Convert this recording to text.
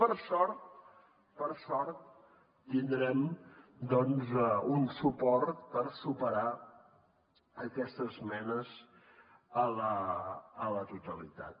per sort per sort tindrem un suport per superar aquestes esmenes a la totalitat